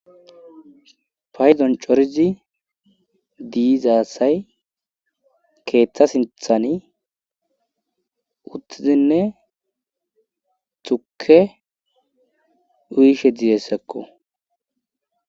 payzon corizi diizaasay keeththa sinthani uttizinne tuke uyishe dizessekko